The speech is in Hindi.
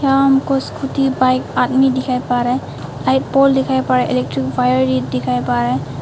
यहां हमको स्कूटी बाइक आदमी दिखाई पड़ रहा हैं यहां एक पोल दिखाई पड़ रहा हैं इलेक्ट्रिक वायर दिखाई पड़ रहा हैं।